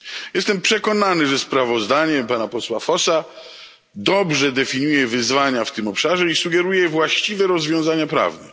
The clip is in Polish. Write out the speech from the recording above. Jestem przekonany, że sprawozdanie pana posła Vossa dobrze definiuje wyzwania w tym obszarze i sugeruje właściwe rozwiązania prawne.